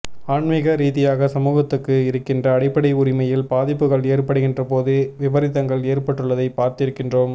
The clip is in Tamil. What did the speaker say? ஆன்மீக ரீதியாக சமூகத்துக்கு இருக்கின்ற அடிப்படை உரிமையில் பாதிப்புகள் ஏற்படுகின்றபோது விபரீதங்கள் ஏற்பட்டுள்ளதை பார்த்திருக்கின்றோம்